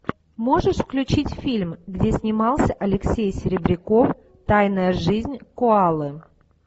можешь включить фильм где снимался алексей серебряков тайная жизнь коалы